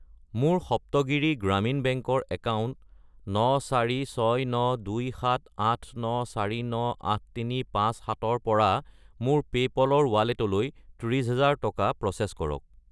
মোৰ সপ্তগিৰি গ্ৰামীণ বেংক ৰ একাউণ্ট 94692789498357 ৰ পৰা মোৰ পে'পল ৰ ৱালেটলৈ 30000 টকা প্ৰ'চেছ কৰক।